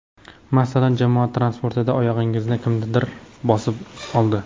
Masalan, jamoat transportida oyog‘ingizni kimdir bosib oldi.